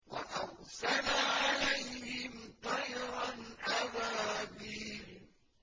وَأَرْسَلَ عَلَيْهِمْ طَيْرًا أَبَابِيلَ